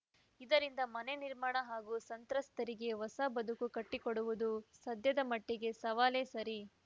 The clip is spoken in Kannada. ಇದರಿಂದ ಮನೆ ನಿರ್ಮಾಣ ಹಾಗೂ ಸಂತ್ರಸ್ತರಿಗೆ ಹೊಸ ಬದುಕು ಕಟ್ಟಿಕೊಡುವುದು ಸದ್ಯದ ಮಟ್ಟಿಗೆ ಸವಾಲೇ ಸರಿ